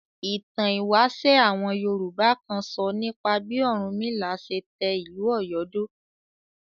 Ìtàn ìwáṣẹ̀ àwọn Yorùbá kan sọ nípa bí Ọ̀rúnmìlà ṣe tẹ ìlú Ọ̀yọ́ dó.